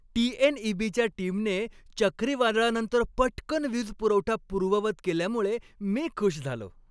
टी.एन.ई.बी.च्या टीमने चक्रीवादळानंतर पटकन वीजपुरवठा पूर्ववत केल्यामुळे मी खुश झालो.